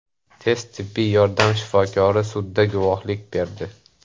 Tez tibbiy yordam shifokori sudda guvohlik berdi.